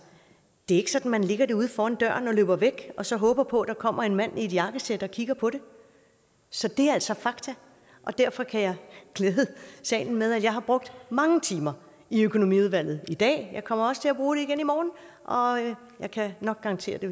det er ikke sådan at man lægger det uden for døren og løber væk og så håber på at der kommer en mand i et jakkesæt og kigger på det så det er altså fakta derfor kan jeg glæde salen med at jeg har brugt mange timer i økonomiudvalget i dag jeg kommer også til at bruget det igen i morgen og jeg kan nok garantere at det